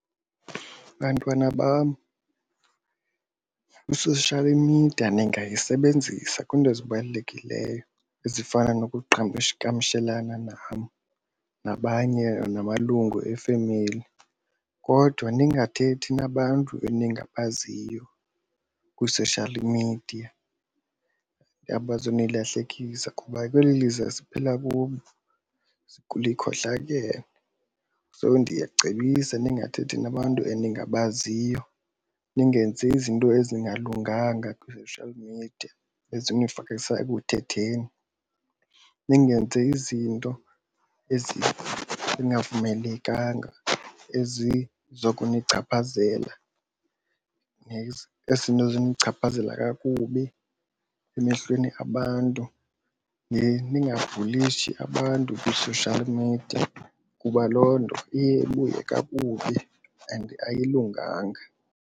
Bantwana bam, i-social media ningayisebenzisa kwiinto ezibalulekileyo ezifana nokuqhagamshelana nam nabanye namalungu efemeli kodwa ningathethi nabantu eningabaziyo kwi-social media abazo nilahlekisa. Kuba kweli lizwe esiphila kulo likhohlakele so ndiyacebisa ningathethi nabantu eningabaziyo. Ningenzi izinto ezingalunganga kwi-social media ezonifakisa ekuthetheni. Ningenzi izinto ezingavumelekanga ezizokunichaphazela ezinonichaphazela kakubi emehlweni abantu. Ningabhulishi abantu kwi-social media kuba loo nto iye ibuye kakubi and ayilunganga.